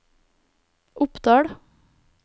Oppdal